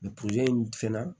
fɛnɛ